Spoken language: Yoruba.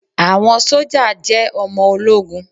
Àwọn sójà jẹ́ ọmọ ológun